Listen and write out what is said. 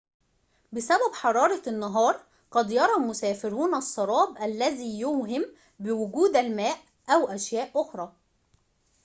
بسبب حرارة النهار، قد يرى المسافرون السراب الذي يوهم بوجود الماء أو أشياء أخرى